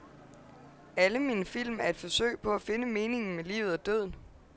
Alle mine film er et forsøg på at finde meningen med livet og døden.